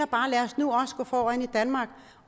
bare lad os nu gå foran i danmark